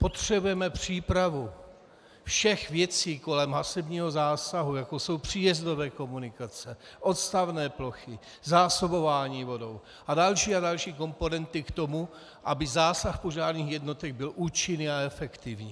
Potřebujeme přípravu všech věcí kolem hasebního zásahu, jako jsou příjezdové komunikace, odstavné plochy, zásobování vodou a další a další komponenty k tomu, aby zásah požárních jednotek byl účinný a efektivní.